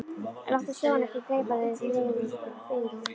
Láttu sjóinn ekki gleypa þig, biður hún.